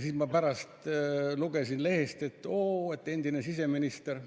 Siis ma pärast lugesin lehest, et oo, endine siseminister,